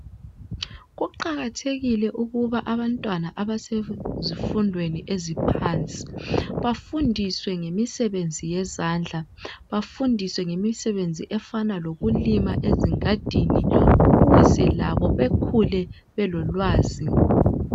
Kuqakathekile ukuba abantwana abasezifundweni eziphansi bafundiswe ngemisebenzi yezandla, bafundiswe ngemisebenzi efana lokulima ezingadini ukuze labo bekhule belolwazi.